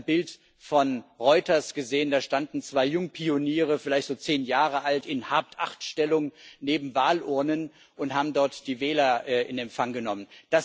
Ich habe ein Bild von Reuters gesehen, da standen zwei Jungpioniere, vielleicht so zehn Jahre alt, in Hab Acht Stellung neben Wahlurnen und haben dort die Wähler in Empfang genommen.